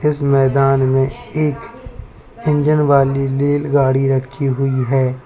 इस मैदान में एक इंजन वाली लेलगाड़ी रखी हुई है।